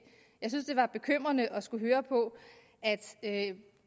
jeg synes at det var bekymrende at skulle høre på at